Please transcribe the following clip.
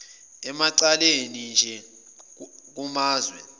emacaleni anje kumazwe